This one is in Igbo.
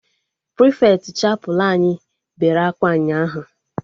Prịfeti chapelụ anyị bere akwa ụnyaahụ